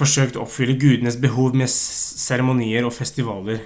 forsøkte å oppfylle gudenes behov med seremonier og festivaler